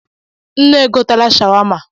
Nne e gotela shawama.